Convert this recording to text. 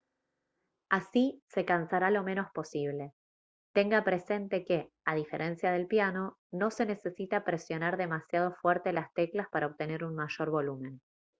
así se cansará lo menos posible tenga presente que a diferencia del piano no se necesita presionar demasiado fuerte las teclas para obtener un mayor volumen